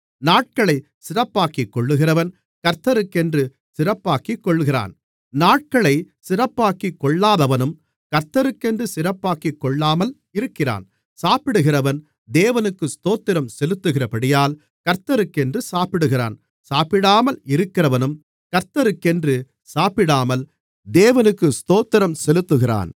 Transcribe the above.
நாட்களை சிறப்பாக்கிக்கொள்கிறவன் கர்த்தருக்கென்று சிறப்பாக்கிக் கொள்கிறான் நாட்களை சிறப்பாக்கிக் கொள்ளாதவனும் கர்த்தருக்கென்று சிறப்பாக்கிக் கொள்ளாமல் இருக்கிறான் சாப்பிடுகிறவன் தேவனுக்கு ஸ்தோத்திரம் செலுத்துகிறபடியால் கர்த்தருக்கென்று சாப்பிடுகிறான் சாப்பிடாமல் இருக்கிறவனும் கர்த்தருக்கென்று சாப்பிடாமல் தேவனுக்கு ஸ்தோத்திரம் செலுத்துகிறான்